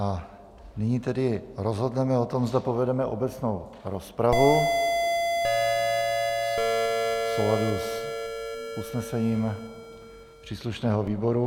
A nyní tedy rozhodneme o tom, zda povedeme obecnou rozpravu v souladu s usnesením příslušného výboru.